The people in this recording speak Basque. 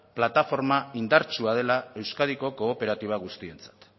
plataforma indartsua dela euskadiko kooperatiba guztientzat